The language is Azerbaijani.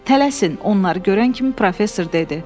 Tələsin, onları görən kimi professor dedi.